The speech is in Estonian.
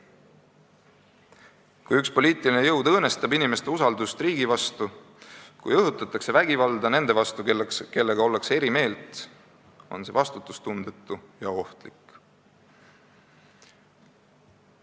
Kui üks poliitiline jõud õõnestab inimeste usaldust riigi vastu ja kui õhutatakse vägivalda nende vastu, kellega ollakse eri meelt, on see vastutustundetu ja ohtlik.